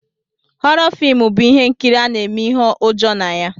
Họrọ filmu bụ ihe nkiri ana eme ihe ụjọ na ya.